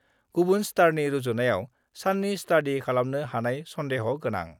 गुबुन स्टारनि रुजुनायाव साननि स्टाडि खालामनो हानाय सन्देह' गोनां।